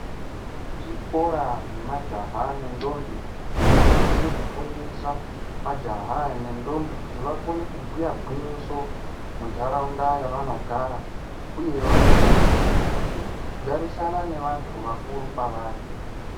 Zvikoro zvemajaha nendombi zvinosisa kufundisa majaha aya nendombi kuti vakone kubhuya gwinyiso mundaraunda yavanogara uye vakone kugarisana nevantu vakuru kwavari.